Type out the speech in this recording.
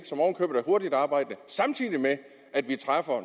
hurtigtarbejdende samtidig med at vi træffer